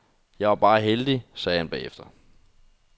Jeg var bare heldig, sagde han bagefter.